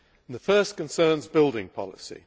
The first concerns building policy.